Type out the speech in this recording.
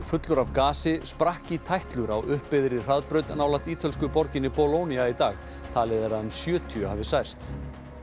fullur af gasi sprakk í tætlur á hraðbraut nálægt ítölsku borginni í dag talið er að um sjötíu hafi særst